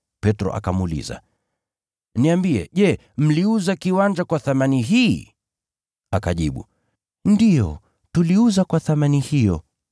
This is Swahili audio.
Petro akamuuliza, “Niambie, je, mliuza kiwanja kwa thamani hii?” Akajibu, “Ndiyo, tuliuza kwa thamani hiyo.”